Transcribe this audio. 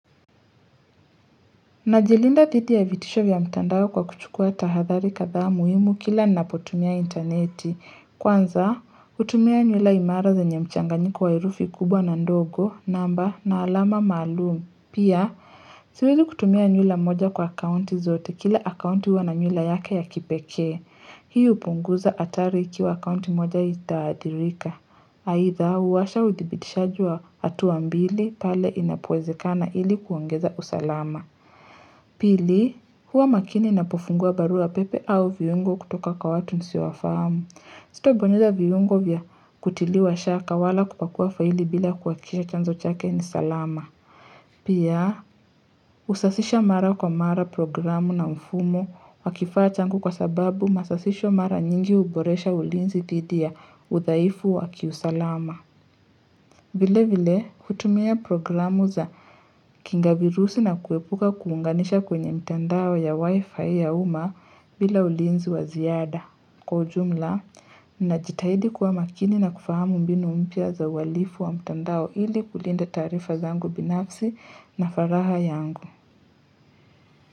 Najilinda dhidi ya vitisho vya mtandao kwa kuchukua tahadhari kathaa muhimu kila napotumia interneti. Kwanza, hutumia nyula imara za zenye mchanganyiko wa herufi kubwa na ndogo, namba, na alama maalumu. Pia, siwezi kutumia nyula moja kwa akaunti zote kila akaunti huwa na nyula yake ya kipekee. Hii hupunguza atari ikiwa akaunti moja itaadhirika. Haitha, huwasha udhibitishaji wa hatua mbili pale inapowezekana ili kuongeza usalama. Pili, huwa makini napofungua barua pepe au viungo kutoka kwa watu nisiowafahamu. Sitabonyeza viungo vya kutiliwa shaka wala kupakua faili bila kuhakikisha chanzo chake ni salama. Pia, usasisha mara kwa mara programu na mfumo wakifaa changu kwa sababu masasisho mara nyingi uboresha ulinzi dhidi ya uthaifu wakiusalama. Vile vile kutumia programu za kinga virusi na kuepuka kuunganisha kwenye mtandao ya wifi ya uma bila ulinzi wa ziada. Kwa ujumla, ninajitahidi kuwa makini na kufahamu mbinu mpya za uhalifu wa mtandao ili kulinda taarifa zangu binafsi na faraha yangu.